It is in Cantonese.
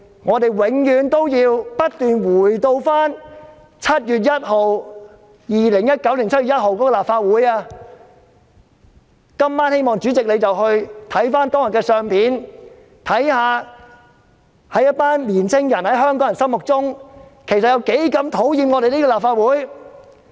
我們永遠也不要忘記2019年7月1日立法會的情況，希望主席今晚回去看看當天的相片，看看在香港年青人心目中，其實有多討厭我們這個立法會。